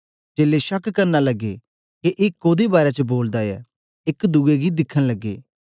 चेलें शक करन लगे के ए कोदे बारै च बोलदा ऐ एक दुए गी दिखन लगे